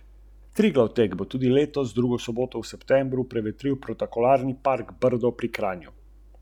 Če bomo na ledu še naprej uspešni, pa mi bo vse skupaj še v toliko večje veselje.